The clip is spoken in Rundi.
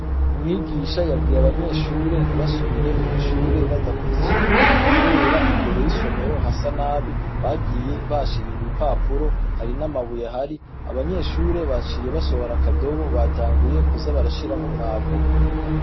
Umwigisha yabwiye abanyeshure ntibasubire mw'ishure badakoze isuku kubera imbere y'isomero hasa nabi bagiye bashira ibipapuro hari n'amabuye ahari, abanyeshure baciye basohora akadobo batanguye kuza barashiramwo umwavu.